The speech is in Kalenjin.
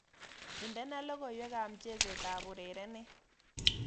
Indene logoywekab mchesetab urerenet